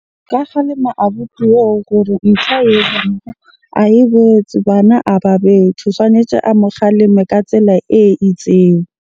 Nka kgalema abuti oo gore ntho ae etsang ae botse, bana a ba bethwe. Tshwanetse a mo kgaleme ka tsela e itseng.